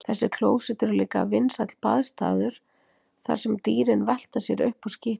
Þessi klósett eru líka vinsæll baðstaður þar sem dýrin velta sér upp úr skítnum.